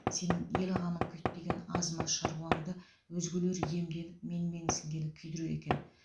сенің ел қамын күйттеген аз маз шаруаңды өзгелер иемденіп менменсігені күдіреді екен